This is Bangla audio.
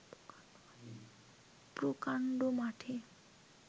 প্রকাণ্ড মাঠে